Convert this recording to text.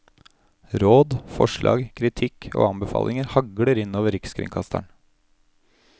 Råd, forslag, kritikk og anbefalinger hagler inn over rikskringkasteren.